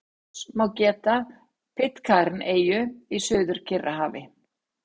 Loks má geta Pitcairn-eyju í Suður-Kyrrahafi.